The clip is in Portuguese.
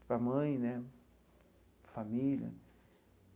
para a mãe né, família.